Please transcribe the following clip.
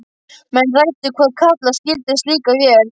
Menn ræddu hvað kalla skyldi slíka vél.